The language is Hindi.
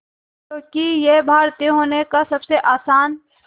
क्योंकि ये भारतीय होने का सबसे आसान